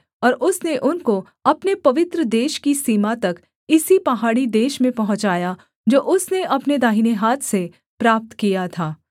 और उसने उनको अपने पवित्र देश की सीमा तक इसी पहाड़ी देश में पहुँचाया जो उसने अपने दाहिने हाथ से प्राप्त किया था